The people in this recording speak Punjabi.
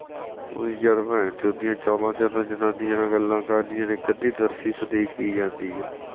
ਉਹੀ ਜਦੋ ਭੈਣ ਚੋਦ ਚਾਵਾਂ ਚ ਜਨਾਨੀਆਂ ਨਾਲ ਗੱਲਾਂ ਕਰਨੀਆਂ ਇਕ ਅੱਧੀ ਦਰਸ਼ੀਸ਼ ਦੇ ਕੇ ਹੀ ਜਾਂਦੀ ਆ